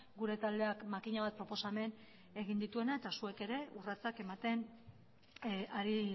gure taldeak makina bat proposamen egin dituena eta zuek ere urratsak ematen ari